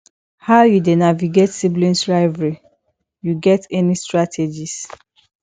how you dey navigate sibling rivalry you get any strategies